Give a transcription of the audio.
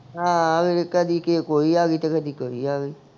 ਹਾਂ ਕਦੀ ਕਿਹੇ ਕੋਈ ਆ ਗਈ ਤੇ ਕਦੀ ਕੋਈ ਆ ਗਈ